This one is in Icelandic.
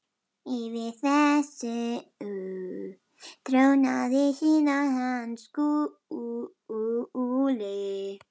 Yfir þessu trónaði síðan hann Skúli.